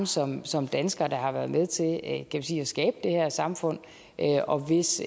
samme som danskere der har været med til at skabe det her samfund og hvis